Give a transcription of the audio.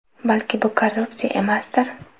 Balki bu korrupsiya emasdir.